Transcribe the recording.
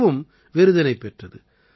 இதுவும் விருதினைப் பெற்றது